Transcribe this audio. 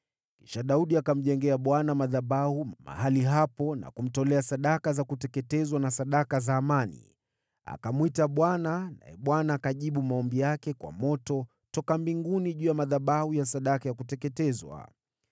Kisha Daudi akamjengea Bwana madhabahu mahali hapo, na kutoa sadaka za kuteketezwa na sadaka za amani. Akamwita Bwana naye Bwana akajibu maombi yake kwa moto toka mbinguni juu ya madhabahu ya sadaka ya kuteketezwa.